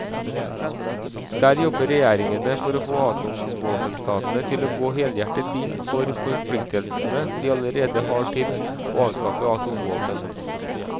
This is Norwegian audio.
Der jobber regjeringene for å få atomvåpenstatene til å gå helhjertet inn for forpliktelsene de allerede har til å avskaffe atomvåpen.